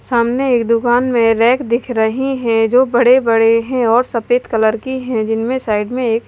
सामने एक दुकान में रैक दिख रही है जो बड़े बड़े हैं और सफेद कलर की है जिनमें साइड में एक--